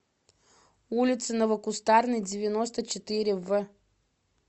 улице новокустарной девяносто четыре в